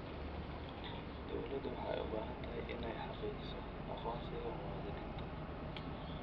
Dawladdu waxay u baahan tahay inay xaqiijiso aqoonsiga muwaadiniinta.